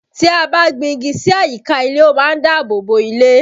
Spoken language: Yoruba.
Tí a bá gbin igi sí àyíká ilé, ó má ń dáàbò bo ilé